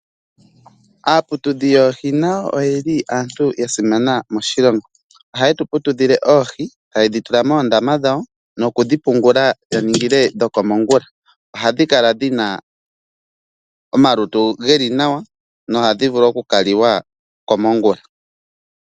Aaputudhi yoohi na yo oye li yasimana moshilongo, oshoka ohaye tuputudhile oohi, taye dhitula moondama dhawo nokudhi pungula yaningile dhokomongula. Ohadhi kala dhina omalutu geli nawa no hadhi vulu oku kaliwa komongula.